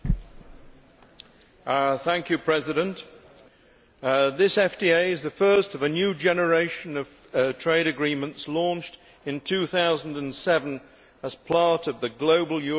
Mr President, this FTA is the first of a new generation of trade agreements launched in 2007 as part of the global Europe initiative.